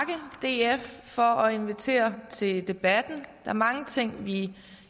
df for at invitere til debatten er mange ting vi